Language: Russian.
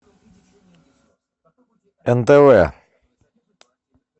нтв